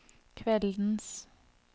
kveldens